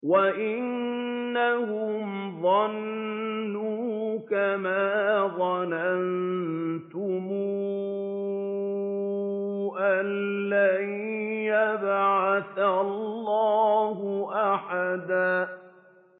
وَأَنَّهُمْ ظَنُّوا كَمَا ظَنَنتُمْ أَن لَّن يَبْعَثَ اللَّهُ أَحَدًا